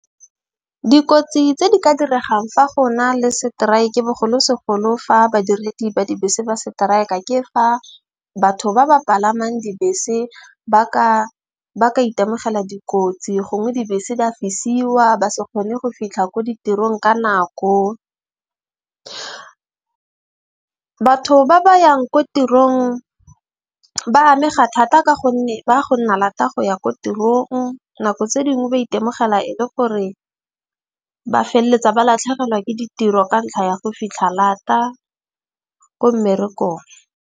Dikotsi tse di ka diregang fa go na le seteraeke bogolosegolo fa badiredi ba dibese ba strike-a ke fa batho ba ba palamang dibese ba ka itemogela dikotsi. Gongwe dibese di fisiwa ba se kgone go fitlha ko ditirong ka nako. Batho ba ba yang ko tirong ba amega thata, ka gonne ba go nna lata go ya ko tirong. Nako tse dingwe ba itemogela e le gore ba feleletsa ba latlhegelwa ke ditiro ka ntlha ya go fitlha lata ko mmerekong.